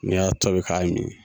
N'i y'a tɔbi k'a min